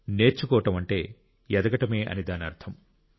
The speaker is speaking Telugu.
నేర్చుకోవడం అంటే ఎదగడమే అని దాని అర్థం